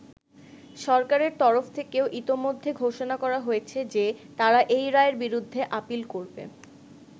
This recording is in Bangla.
সরকারের তরফ থেকেও ইতোমধ্যে ঘোষণা করা হয়েছে যে তারা এই রায়ের বিরুদ্ধে আপীল করবে।